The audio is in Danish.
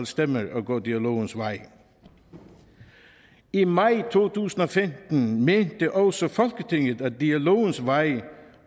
stemmer at gå dialogens vej i maj to tusind og femten mente også folketinget at dialogens vej